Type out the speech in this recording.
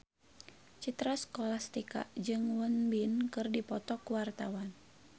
Citra Scholastika jeung Won Bin keur dipoto ku wartawan